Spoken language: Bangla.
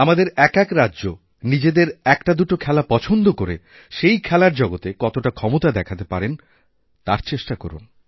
আমাদের এক এক রাজ্য নিজেদের একটাদুটো খেলা পছন্দ করে সেই খেলারজগতে কতটা ক্ষমতা দেখাতে পারেন তার চেষ্টা করুন